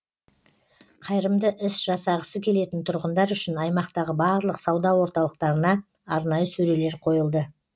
қайырымды іс жасағысы келетін тұрғындар үшін аймақтағы барлық сауда орталықтарына арнайы сөрелер қойылды